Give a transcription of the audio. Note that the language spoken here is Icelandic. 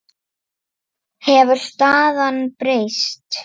Hefur staðan breyst?